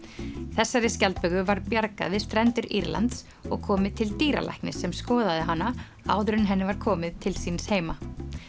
þessari skjaldböku var bjargað við strendur Írlands og komið til dýralæknis sem skoðaði hana áður en henni var komið til síns heima